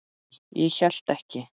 Nei, ég hélt ekki.